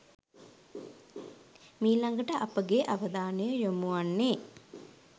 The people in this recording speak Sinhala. මීළඟට අපගේ අවධානය යොමු වන්නේ